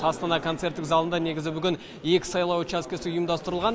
астана концерттік залында негізі бүгін екі сайлау учаскесі ұйымдастырылған